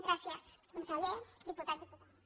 gràcies conseller diputats diputades